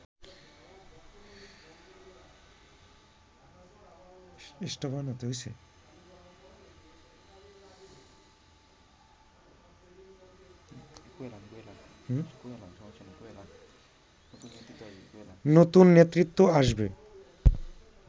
নতুন নেতৃত্ব আসবে